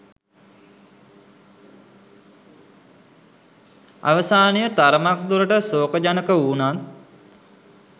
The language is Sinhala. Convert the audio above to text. අවසානය තරමක් දුරට ශෝකජනක වුනත්